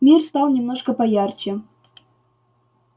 мир стал немножко поярче